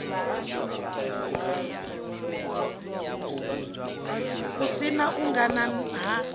si na u angana ha